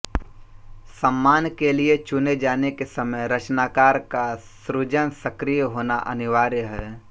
सम्मान के लिये चुने जाने के समय रचनाकार का सृजनसक्रिय होना अनिवार्य है